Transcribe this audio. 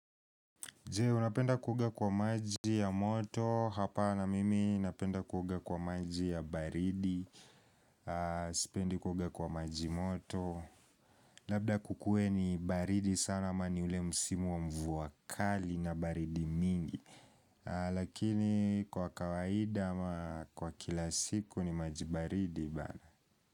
Je, unapenda kuoga kwa maji ya moto, hapana mimi napenda kuoga kwa maji ya baridi, sipendi kuoga kwa maji moto Labda kukue ni baridi sana ama ni ule msimu wa mvua kali na baridi mingi Lakini kwa kawaida ama kwa kila siku ni maji baridi bana.